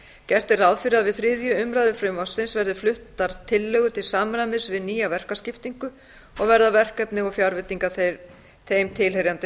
gert er ráð fyrir að við þriðju umræðu frumvarpsins verði fluttar tillögur til samræmis við nýja verkaskiptingu og verða verkefni og fjárveitingar þeim tilheyrandi